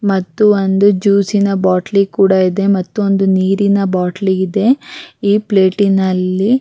ಮತ್ತು ಒಂದು ಜ್ಯೂಸಿನ ಬಾಟಲಿ ಕೂಡ ಇದೆ ಮತ್ತು ಒಂದು ನೀರಿನ ಬಾಟ್ಲಿ ಇದೆ ಈ ಪ್ಲೇಟಿನಲ್ಲಿ --